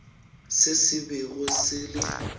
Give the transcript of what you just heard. se se bego se le